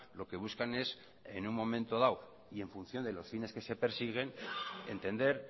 lo que buscan es en un momento dado y en función de los fines que se persiguen entender